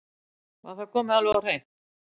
Var það komið alveg á hreint?